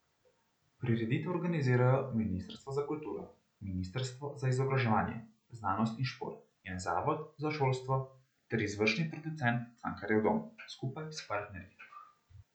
Prireditev organizirajo ministrstvo za kulturo, ministrstvo za izobraževanje, znanost in šport in zavod za šolstvo ter izvršni producent Cankarjev dom skupaj s partnerji.